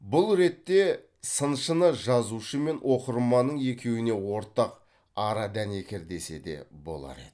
бұл ретте сыншыны жазушы мен оқырманның екеуіне ортақ ара дәнекер десе де болар еді